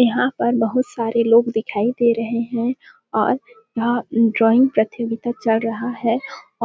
यहाँ पर बहुत सारे लोग दिखाई दे रहे है और यहाँ ड्रॉइंग प्रतियोगिता चल रहा है